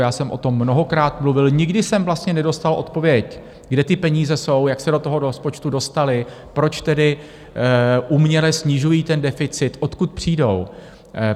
Já jsem o tom mnohokrát mluvil, nikdy jsem vlastně nedostal odpověď - kde ty peníze jsou, jak se do toho rozpočtu dostaly, proč tedy uměle snižují ten deficit, odkud přijdou?